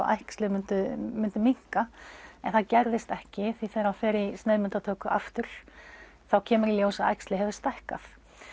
æxlið myndi minnka en það gerðist ekki þegar hann fer í sneiðmyndatöku aftur þá kemur í ljós að æxlið hefur stækkað